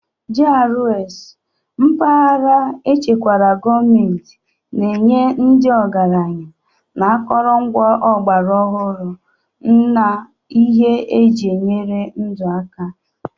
GRAs (Mpaghara echekwara gọọmentị) na-enye ndị ọgaranya na akụrụngwa ọgbara ọhụrụ na ihe eji enyere ndụ aka.